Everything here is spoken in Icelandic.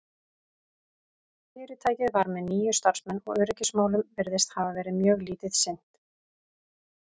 fyrirtækið var með níu starfsmenn og öryggismálum virðist hafa verið mjög lítið sinnt